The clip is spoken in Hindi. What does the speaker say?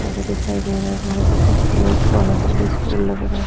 अभी दिखाई दे रहा है बहोत ही खूबसूरत बाहर से ये स्कूल लग रहा है।